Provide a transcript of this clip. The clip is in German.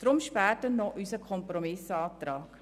Deshalb später noch unser Kompromissantrag.